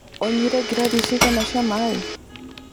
ũnyuire ngirathi cigana cia maĩ?